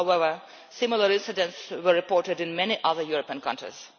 However, similar incidents were reported in many other European countries.